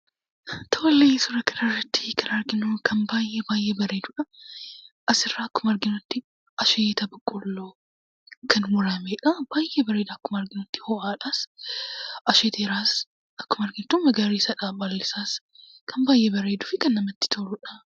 Tole suuraa kanarratti kan arginu kan baay'ee baay'ee bareeduu dha. As irraa akkuma arginutti asheeta boqqolloo kan murameedha. Baay'ee bareeda. Akkuma arginutti ho'aadhas; asheeteeras. Akkuma argitu magariisa dha. Baalli isaas kan baay'ee bareeduu fi kan namatti tolu dha.